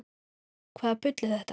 Hvaða bull er þetta?